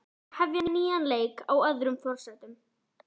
Það verður að hefja nýjan leik, á öðrum forsendum.